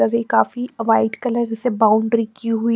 काफी white colour से boundary की हुई--